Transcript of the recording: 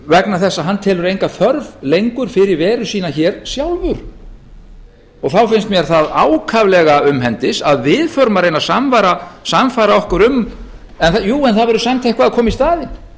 vegna þess að hann telur enga þörf lengur fyrir veru sína hér sjálfur þá finnst mér það ákaflega umhendis að við förum að reyna að sannfæra okkur um en jú það verður samt eitthvað að koma í staðinn